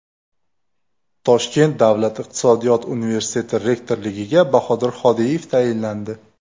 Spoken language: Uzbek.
Toshkent Davlat iqtisodiyot universiteti rektorligiga Bahodir Hodiyev tayinlandi.